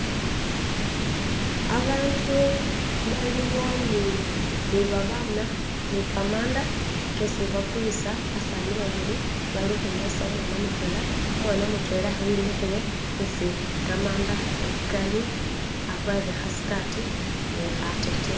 Abantu baliwo ni babana ni khamanda khetsi bakhulitsa, batsani babili balukwinyayitsa umwana mutwela, umwana mutwela emikhile etsi khamanda khari akwarire khatsikhati ni khateteyi